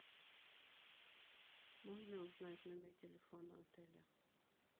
можно узнать номер телефона отеля